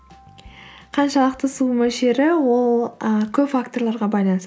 қаншалықты су мөлшері ол ы көп факторларға байланысты